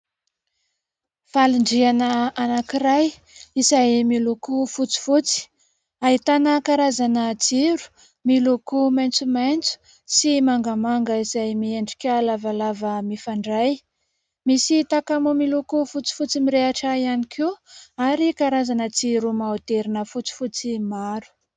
Falindriana anankiray izay miloko fotsifotsy, ahitana karazana jiro miloko maitsomaitso sy mangamanga izay miendrika lavalava mifandray. Misy < takamo > miloko fotsifotsy mirehitra ihany koa ary karazana jiro maoderina fotsifotsy maro.